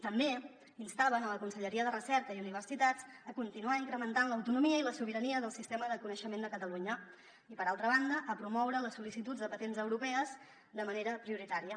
també instaven la conselleria de recerca i universitats a continuar incrementant l’autonomia i la sobirania del sistema de coneixement de catalunya i per altra banda a promoure les sol·licituds de patents europees de manera prioritària